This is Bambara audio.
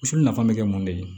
Misi nafa bɛ kɛ mun de ye